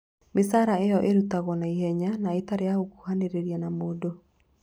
Mĩcaara ĩyo ĩrutagwo na ihenya na ĩtarĩ ya gũkuhanĩrĩria na mũndũ.